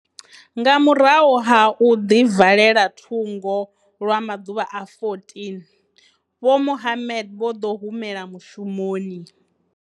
Nga murahu ha u ḓivalela thungo lwa maḓuvha a 14, Vho Mohammed vho ḓo humela mushumoni.